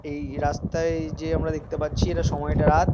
এই রাস্তায় যে আমরা দেখতে পাচ্ছি এটার সময়টা রাত।